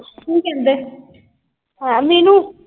ਕੀ ਕਹਿੰਦੇ? ਹੈਂ ਮੀਨੁ।